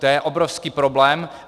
To je obrovský problém.